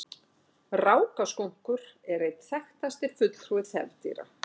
Rákaskunkur er einn þekktasti fulltrúi þefdýra.